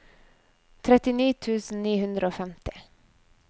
trettini tusen ni hundre og femti